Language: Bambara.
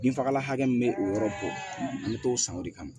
Binfagalan hakɛ min bɛ o yɔrɔ bɔ an bɛ t'o san o de kama